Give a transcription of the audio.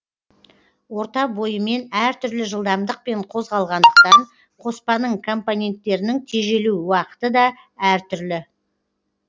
орта бойымен әртүрлі жылдамдықпен қозғалғандықтан қоспаның компоненттерінің тежелу уақыты да әртүрлі